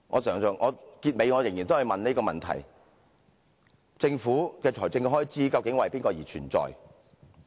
最後我仍要提出這個問題："政府的財政開支究竟為誰而存在？